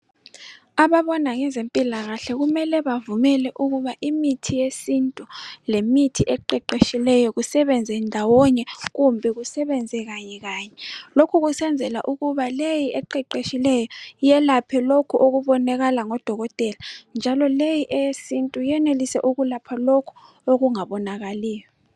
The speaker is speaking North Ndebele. Ababona ngezempilakahle kumele bavumele ukuthi imithi yesintu lemithi eqeqetshileyo kusebenze ndawonye. Kumbe kusebenze kanye kanye. Lokhu kusenzela ukuba leyi eqeqetshileyo, yelaphe lokho okubonakala ngodokotela. Le eyesintu yenelise ukulapha lokho, okungabonakaliyo.